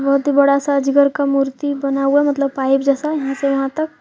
बहुत ही बड़ा सा जिगर का मूर्ति बना हुआ मतलब पाइप जैसा यहां से वहां तक ।